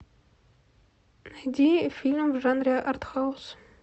найди фильм в жанре артхаус